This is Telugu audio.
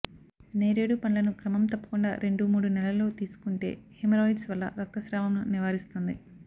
నేరుడు పండ్లను క్రమం తప్పకుండా రెండు మూడు నెలలో తీసుకుంటే హెమరాయిడ్స్ వల్ల రక్తస్రావంను నివారిస్తుంది